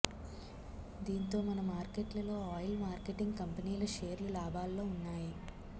దీంతో మన మార్కెట్లలో ఆయిల్ మార్కెటింగ్ కంపెనీల షేర్లు లాభాల్లో ఉన్నాయి